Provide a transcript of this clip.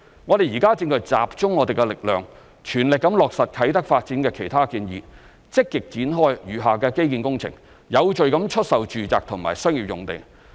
我們現正集中力量全力落實啟德發展的其他建議，積極展開餘下基建工程，有序地出售住宅及商業用地。